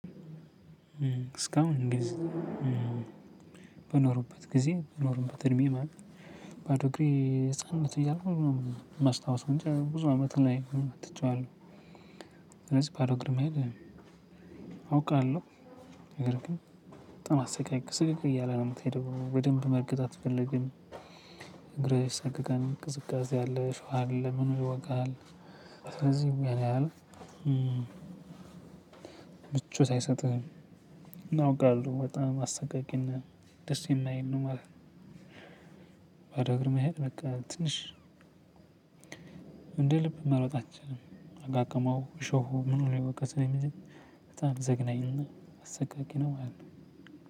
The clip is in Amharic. እስካሁን ጊዜ በኖሩበት ጊዜ በኖሩበት እድሜ ማለት ባዶ እግሬ ህፃነት እያለው ማስታወስ እንጂ ብዙ አመት ሆኖ ትቼዋለሁ። ስለዚህ ባዶ እግር መሄድ አውቃለሁ። ነገር ግን በጣም አሰቃቂ ስቅቅ እያለ ነው ምትሄደው በደንብ መርገጥ አትፈልግም። እግር ይሳቀቃል ቅዝቃዜ አለ አሸዋ አለ ምኑ ይወጋሀል። ስለዚህ ያን አህል ምቾት አይሰጥህም። አውቃለሁ በጣም አሰቃቂና ደስ የማይል ነው ነው ማለት ነው። ባዶ እግር መሄድ በቃ ትንሽ እንደ ልብ መሮጥ አንችልም። አቃቅመው እሾሁ ምኑ ላይ የወቀሰው እንጂ በጣም ዘግናኝ እና አሰቃቂ ነው ማለት ነው።